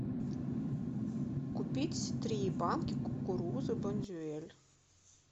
купить три банки кукурузы бондюэль